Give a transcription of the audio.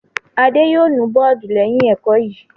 Adé yóò nu bọ́ọ́dù lẹ́yìn ẹ̀kọ́ yìí!